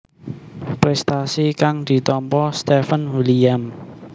Prestasi kang ditampa Steven William